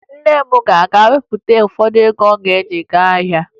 Nne m ga-aga wepụta ụfọdụ ego ọ ga-ewe gaa ahịa